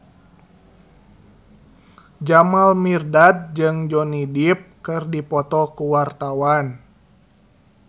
Jamal Mirdad jeung Johnny Depp keur dipoto ku wartawan